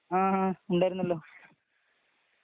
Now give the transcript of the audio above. ങാ.. ഉണ്ടായിരുന്നല്ലോ.